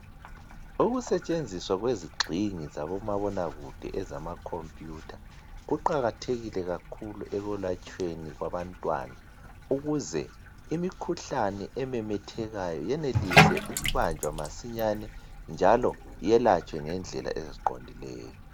Ukusetshenziswa kwezigxingi zabomabonakude ezama khompuyutha kuqakathekile kakhulu ekwelatshweni kwabantwana. ukuze imikhuhlane ememethekayo yenelise ukubanjwa masinya njalo yelatshwe ngendlela eziqondileyo.